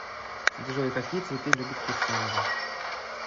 джой какие цветы любит кирсанова